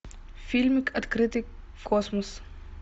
фильмик открытый космос